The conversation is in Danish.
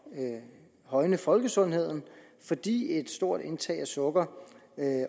at højne folkesundheden fordi et stort indtag af sukker